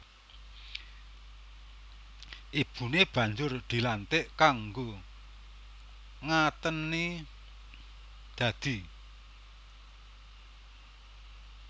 Ibune banjur dilantik kanggo ngateni dadi